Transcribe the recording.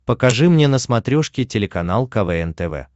покажи мне на смотрешке телеканал квн тв